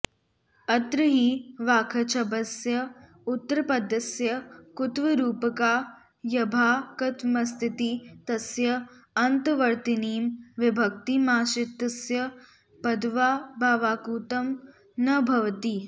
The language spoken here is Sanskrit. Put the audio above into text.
अत्र हि वाक्छब्दस्य उत्तरपदस्य कुत्वरूपकार्यभाक्त्त्वामस्तीति तस्य अन्तर्वर्तिनीं विभक्तिमाश्रित्य पदत्वाऽभावात्कुत्वं न भवति